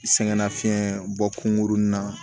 Sɛgɛnnafiɲɛn bɔ kungurunnin na